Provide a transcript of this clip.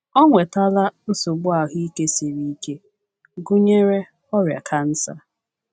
Ọ nwetala nsogbu ahụike siri ike, gụnyere ọrịa kansa.